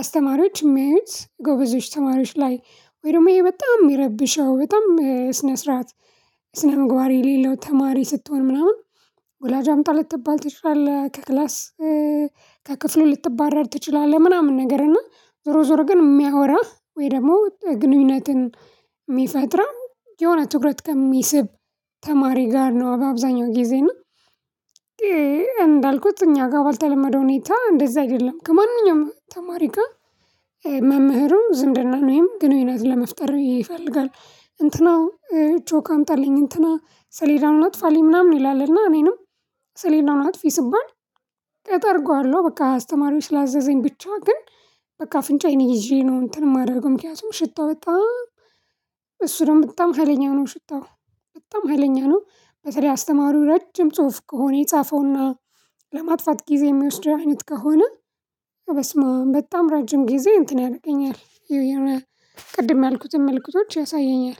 አስተማሪዎች የሚያዩት ጎበዞች ተማሪዎች ላይ ወይ ደግሞ ይሄ በጣም የሚረብሸው በጣም ስነ ስርዓት። ስነ ምግባር የሌለው ተማሪ ስትሆን ምናምን ወላጅ አምጣ ልትባል ትችላለህ። ከክላስ ከክፍሉ ልትባረር ትችላለህ። ምናምን ነገር እና ዞሮ ዞሮ ግን የሚያወራ ወይ ደግሞ ግንኙነትን። የሚፈጥር የሆነ ትኩረት ከሚስብ ተማሪ ጋር ነው። በአብዛኛው ጊዜ እና። እንዳልኩት እኛ ጋር ባልተለመደው ሁኔታ እንደዛ አይደለም ከማንኛውም ተማሪ ጋር። መምህሩ ዝምድና ወይም ግንኙነት ለመፍጠር ይፈልጋል እንትና ቾክ አምጣልኝ እንትና ሰሌዳውን አጥፋልኝ ምናምን ይላልና። እኔንም ሰሌዳውን አጥፊ ስባል። አጠርገዋለው በቃ አስተማሪው ስላዘዘኝ ብቻ ግን። በቃ አፍንጫዬን ይዤ ነው እንትን የማደርገው ምክንያቱም ሽታው በጣም። እሱ ነው በጣም ሀይለኛ ነው ሽታው። በጣም ሀይለኛ ነው። በተለይ አስተማሪው ረጅም ጽሁፍ ከሆነ የጻፈውና ለማጥፋት ጊዜ የሚወስደው አይነት ከሆነ በስመአም በጣም ረጅም ጊዜ እንትን ያረገኛል። ቅድም ያልኩትን መልክቶች ያሳየኛል